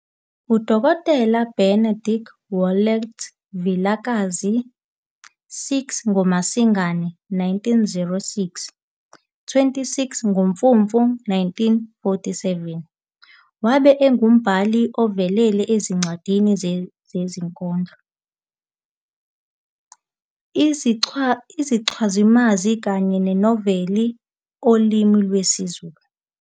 UDokotela Benedict Wallet Vilakazi, 6 ngoMasingana 1906 - 26 ngoMfumfu 1947, wabe engumbhali ovelele wenzincwadi, izinkondlo, izichazimazwi kanye namanoveli olimi lwesiZulu.